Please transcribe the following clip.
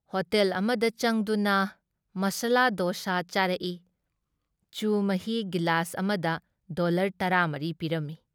Hotel ꯑꯃꯗ ꯆꯪꯗꯨꯅ ꯃꯁꯂꯥ ꯗꯣꯁꯥ ꯆꯥꯔꯛꯏ, ꯆꯨ ꯃꯍꯤ ꯒꯤꯂꯥꯁ ꯑꯃꯗ ꯗꯣꯜꯂꯔ ꯇꯔꯥ ꯃꯔꯤ ꯄꯤꯔꯝꯃꯤ ꯫